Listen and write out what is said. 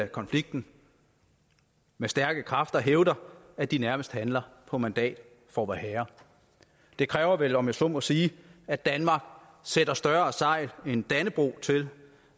konflikten med stærke kræfter hævder at de nærmest handler på mandat fra vorherre det kræver vel om jeg så må sige at danmark sætter større sejl end dannebrog til